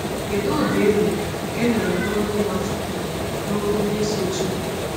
Kedu ụda ị nụrụ ị nụrụ n’olu Nwachukwu n’okwu ndị sochiri?